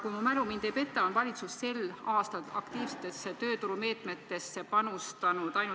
Kui mu mälu mind ei peta, on valitsus sel aastal aktiivsetesse tööturumeetmetesse panustanud ainult ...